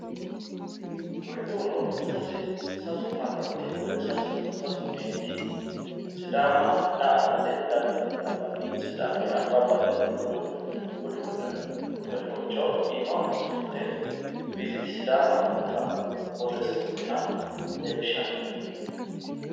Kuriuno sase meenti sidaama da"aattate daayinore lawano visit Sidama ytano borro afidhinotta qolo udirre no